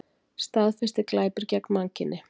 Staðfestir glæpi gegn mannkyni